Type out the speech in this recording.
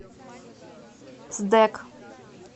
сдэк